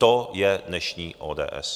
To je dnešní ODS!